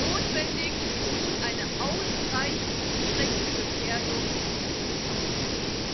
Notwendig ist nun eine ausreichend direkte Gefährdung des Haushalts.